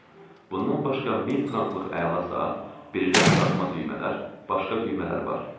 Bundan başqa 1000 franklıq əla saat, brilliant taxma düymələr, başqa düymələr var.